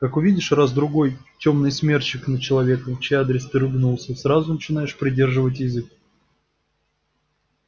как увидишь раз-другой тёмный смерчик над человеком в чей адрес ты ругнулся сразу начинаешь придерживать язык